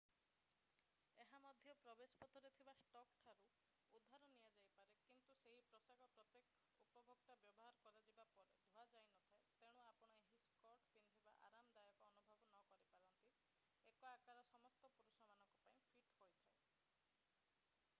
ଏହା ମଧ୍ୟ ପ୍ରବେଶ ପଥରେ ଥିବା ଷ୍ଟକ୍ ଠାରୁ ଉଧାର ନିଆଯାଇପାରେ କିନ୍ତୁ ସେହି ପୋଷାକ ପ୍ରତ୍ୟେକ ଉପଭୋକ୍ତା ବ୍ୟବହାର କରାଯିବା ପରେ ଧୁଆଯାଇନଥାଏ ତେଣୁ ଆପଣ ଏହି ସ୍କର୍ଟ ପିନ୍ଧିବାରେ ଆରାମଦାୟକ ଅନୁଭବ ନ କରିପାରନ୍ତି 1 ଆକାର ସମସ୍ତ ପୁରୁଷମାନଙ୍କ ପାଇଁ ଫିଟ୍ ହୋଇଥାଏ